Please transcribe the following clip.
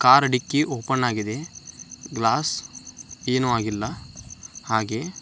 Car dickey open ಆಗಿದೆ. Glass ಏನು ಆಗಿಲ್ಲ. ಹಾಗೆ --